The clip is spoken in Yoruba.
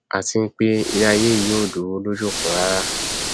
àti pé iléaiyé yìí ò dúró lójú kan rárá